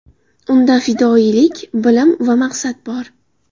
Unda fidoyilik, bilim va maqsad bor.